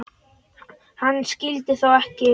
Hann skyldi þó ekki.